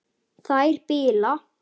Þær bila.